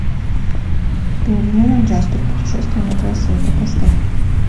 пингвиненок джаспер путешествие на край света поставь